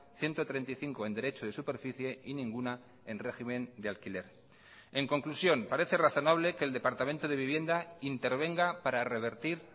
ciento treinta y cinco en derecho de superficie y ninguna en régimen de alquiler en conclusión parece razonable que el departamento de vivienda intervenga para revertir